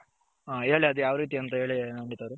ಹ ಹೇಳಿ ಅದು ಯಾವ್ ರೀತಿ ಅಂತ ನವನಿತ್ ಅವರೇ.